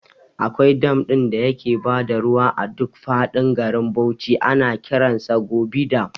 Akwai dam ɗin da yake bada ruwa a duk faɗin garin Bauchi ana kiransa Gubi dam